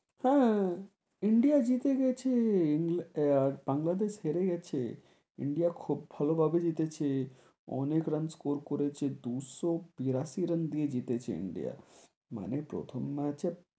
হেঁ, ইন্ডিয়া জিতে গেছে, ইং~ বাংলাদেশ হেরে গেছে, ইন্ডিয়া খুব ভালো ভাবে জিতেছে, অনেক run score করেছে, দুশো বিরাশি run দিয়ে জিতেছে ইন্ডিয়া, মানে প্রথম match,